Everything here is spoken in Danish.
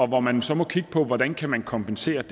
må man så kigge på hvordan der kan kompenseres